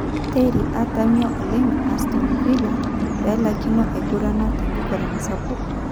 Terry:atamio oleng'Aston Villa pelaikino aigurana tenkiguran sapuk.